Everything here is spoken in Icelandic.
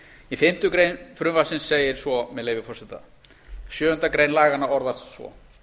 í fimmtu grein frv segir svo með leyfi forseta sjöundu grein laganna orðast svo